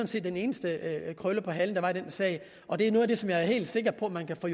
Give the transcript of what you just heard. set den eneste krølle på halen der er i den sag og det er noget af det som jeg er helt sikker på at man kan få